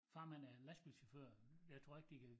Farmand er en lastbilschauffør jeg tror ikke de kan